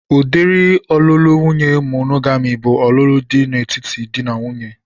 Udiri ọlụlụ nwaanyị monogami bụ ọlụlụ dị n'etiti dị na nwunye